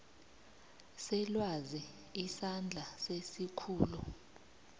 selwazi isandla sesikhulu